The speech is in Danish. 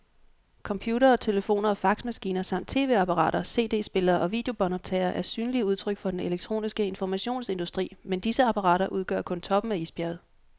Computere, telefoner og faxmaskiner samt tv-apparater, cd-spillere og videobåndoptagere er synlige udtryk for den elektroniske informationsindustri, men disse apparater udgør kun toppen af isbjerget.